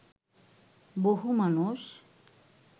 বহু মানুষ